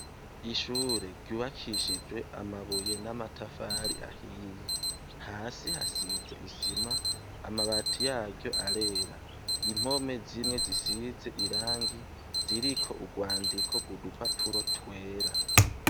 Ishure ryubakishijwe amabuye n'amatafari ahiye. Hasi hasize isima, amabati yaryo arera. Impome zimwe zisize irangi, ziriko urwandiko rw'udupapuro twera.